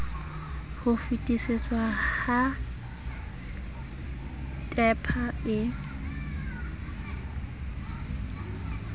ho fetisetswa ha tehpa e